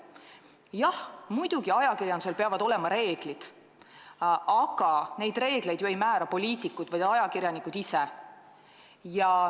Jah, muidugi, ajakirjandusel peavad olema reeglid, aga neid reegleid ei määra ju poliitikud, vaid ajakirjanikud ise.